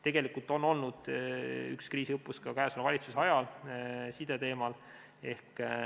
Tegelikult on olnud üks kriisiõppus ka käesoleva valitsuse ajal, see oli sideteemal.